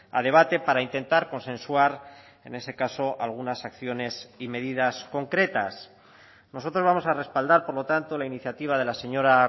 a debate para intentar consensuar en ese caso algunas acciones y medidas concretas nosotros vamos a respaldar por lo tanto la iniciativa de la señora